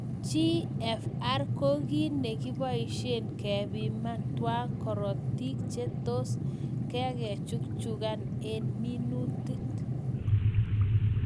Gfr koo kii negibaishe kepiman tyaa korotik che toss ke chukchukan eng minutit